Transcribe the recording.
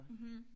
Mh